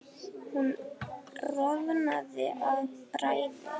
Hún roðnaði af bræði.